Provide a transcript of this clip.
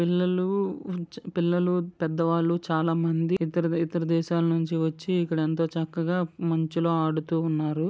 పిల్లలు మంచు పిల్లలు పెద్దవాళ్లు చాలా మంది దగ్గర దగ్గర దేశాల నుంచి వచ్చి ఇక్కడ చక్కగా మంచులో ఆడతా ఉన్నారు.